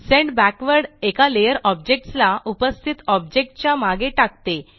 send backward एका layer objects ला उपस्थित ऑबजेक्ट च्या मागे टाकते